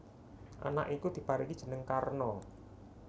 Anak iku diparingi jeneng Karna